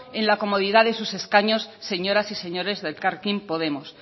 en la comodidad de sus escaños señoras y señores de elkarrekin podemos